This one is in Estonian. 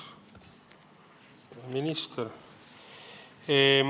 Lugupeetud minister!